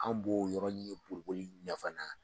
An b'o yɔrɔnin boli boli ɲa fana.